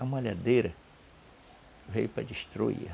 A malhadeira veio para destruir.